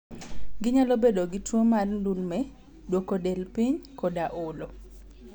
Ginyalo bedo gi tuwo mar ndulme, duoko del piny, koda olo.